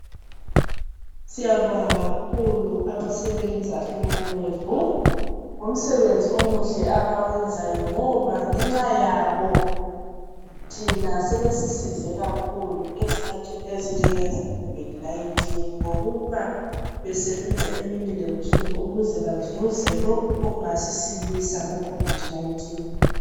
Siyabonga kakhulu abasebenza emalebhu, ngomsebenzi omuhle abawenzayo ngoba ngenxa yabo thina sebesisize kakhulu ezikhathini ezinjengezekhovidi 19, ngokuba besebenza gemini lebusuku ukuze bazuze lokhu okungasisilisa kukhovidi 19.